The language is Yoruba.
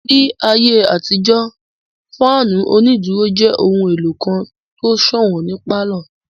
Ní ayé àtijó, fáànù onídúró jẹ́ ohun èlò kan tó sọ̀wọ́n ní pálọ̀